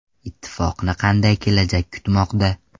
Ittifoqni qanday kelajak kutmoqda?.